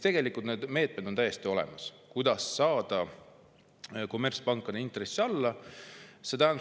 Tegelikult on täiesti olemas need meetmed, kuidas saada kommertspankade intressid alla.